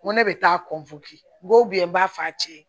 N ko ne bɛ taa n ko n b'a f'a cɛ ye